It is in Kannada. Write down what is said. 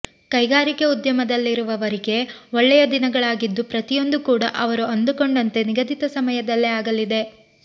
ಕೈಗಾರಿಕೆ ಉದ್ಯಮದಲ್ಲಿರುವವರಿಗೆ ಒಳ್ಳೆಯ ದಿನಗಳಾಗಿದ್ದು ಪ್ರತಿಯೊಂದು ಕೂಡಾ ಅವರು ಅಂದುಕೊಂಡಂತೆ ನಿಗದಿತ ಸಮಯದಲ್ಲೇ ಆಗಲಿದೆ